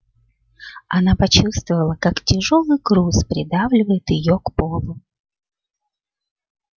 она почувствовала как тяжёлый груз придавливает её к полу